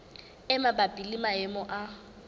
e mabapi le maemo a